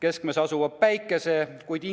keskmes asuva Päikese?